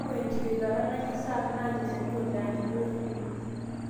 keyau ingiritata naji staph naany ilchanito le antibiotic kumok.